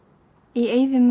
í eyðimörk